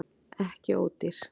Ekki ódýr